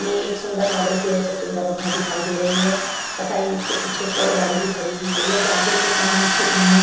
ये एक सुंदर मॉडल किये हुए सुंदर रूप में दिखाई दे रही है तथा इसके पीछे एक और गाड़ी भी खड़ी हुई है। ये गाड़ियों की सामूहिक चित्र है। --